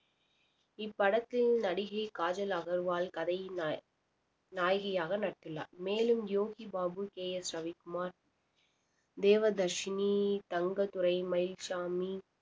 இப்படத்தில் நடிகை காஜல் அகர்வால் கதையின் நாய~ நாயகியாக நடித்துள்ளார் மேலும் யோகி பாபு கே எஸ் ரவிக்குமார் தேவதர்ஷினி தங்கதுரை மயில்சாமி